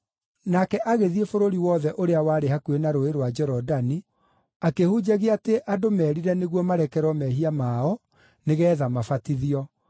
Nake agĩthiĩ bũrũri wothe ũrĩa warĩ hakuhĩ na Rũũĩ rwa Jorodani, akĩhunjagia atĩ andũ merire nĩguo marekerwo mehia mao nĩgeetha mabatithio.